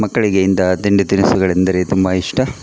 ಮಕ್ಕಳಿಗೆ ಇಂತಹ ತಿಂಡಿ ತಿನಿಸುಗಳೆಂದರೆ ತುಂಬ ಇಷ್ಟ.